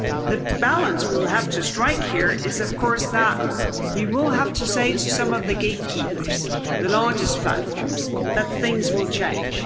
The balance we will have to strike here is of course that we will have to say to some of the gatekeepers, the largest platforms, that things will change.